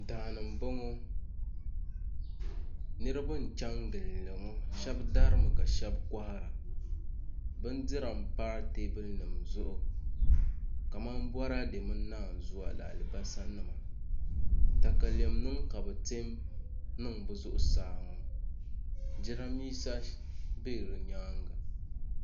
Daani n boŋo niraba n chɛni gindi ŋo shab darimi ka shab kohara bindira n pa teebuli nim zuɣu kamani boraadɛ mini naanzuwa ni alibarisa nima katalɛm nim ka bi tiɛ n niŋ bi zuɣusaa ŋo jiranbiisa bɛ di nyaanga